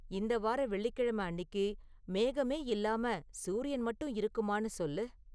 இந்த வார வெள்ளிக்கெழம அன்னிக்கு மேகமே இல்லாம சூரியன் மட்டும் இருக்குமான்னு சொல்லு